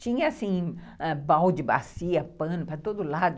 Tinha, assim, balde, bacia, pano para todo lado.